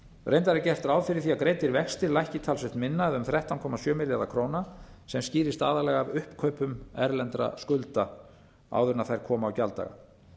reyndar er gert ráð fyrir að greiddir vextir lækki talsvert minna um þrettán komma sjö milljarða króna sem skýrist aðallega af uppkaupum erlendra skulda áður en þær koma á gjalddaga